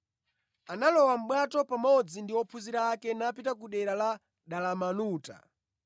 analowa mʼbwato pamodzi ndi ophunzira ake napita ku dera la Dalamanuta.